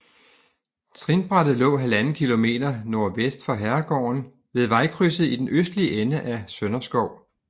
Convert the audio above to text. Trinbrættet lå 1½ km nordvest for herregården ved vejkrydset i den østlige ende af Sønderskov